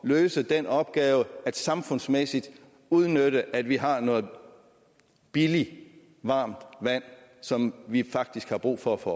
løse den opgave samfundsmæssigt at udnytte at vi har noget billigt varmt vand som vi faktisk har brug for at få